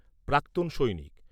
প্রাক্তন সৈনিক